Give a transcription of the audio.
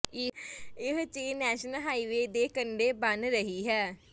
ਇਹ chain national highway ਦੇ ਕੰਢੇ ਬਣ ਰਹੀ ਹੈ